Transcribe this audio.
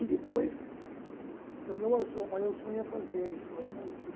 E depois, o meu maior sonho é fazer história na USP.